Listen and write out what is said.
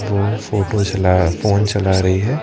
वो फोटो चला फोन चला रही है।